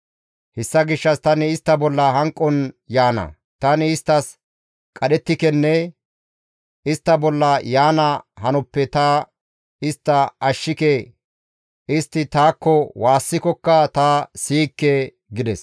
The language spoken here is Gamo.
Hessa gishshas tani istta bolla hanqon yaana; tani isttas qadhettikenne istta bolla yaana hanotappe ta istta ashshike; istti taakko waassikokka ta siyikke» gides.